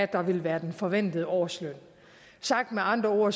der vil være den forventede årsløn sagt med andre ord